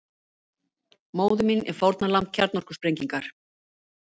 Móðir mín er fórnarlamb kjarnorkusprengingar